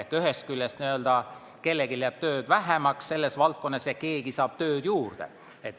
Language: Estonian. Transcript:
Seega ühest küljest kellelgi jääb tööd vähemaks selles valdkonnas ja keegi saab tööd juurde.